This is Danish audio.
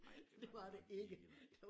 Nej det var det nok ikke nej